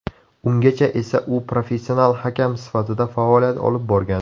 Ungacha esa u professional hakam sifatida faoliyat olib borgan.